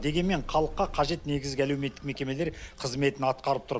дегенмен халыққа қажет негізгі әлеуметтік мекемелер қызметін атқарып тұр